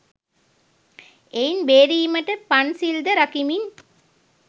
එයින් බේරීමට පන්සිල්ද රකිමින්